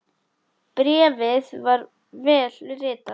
Bréfið var vel ritað.